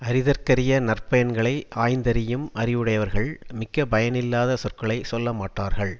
அறிதற்கரிய நற்பயன்களை ஆய்ந்தறியும் அறிவுடையவர்கள் மிக்க பயனில்லாத சொற்களை சொல்ல மாட்டார்கள்